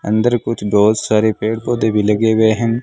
अंदर कुछ बहोत सारे पेड़ पौधे भी लगे हुए हैं।